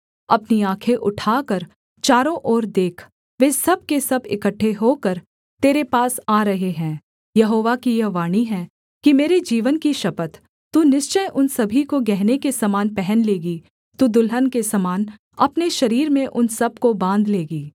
अपनी आँखें उठाकर चारों ओर देख वे सब के सब इकट्ठे होकर तेरे पास आ रहे हैं यहोवा की यह वाणी है कि मेरे जीवन की शपथ तू निश्चय उन सभी को गहने के समान पहन लेगी तू दुल्हन के समान अपने शरीर में उन सब को बाँध लेगी